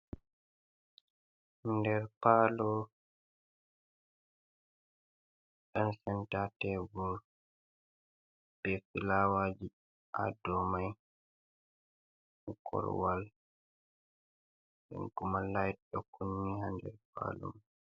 Nder palo nden senta tebul be filawaji ha dow mai korowal nden kuma lait ɗo kunni ha nder palo mai.